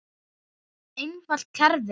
Einfalt kerfi.